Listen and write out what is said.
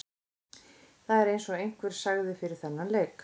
Það er eins og einhver sagði fyrir þennan leik.